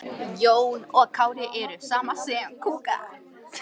Þegar Júlía gerði mig að sögukonu.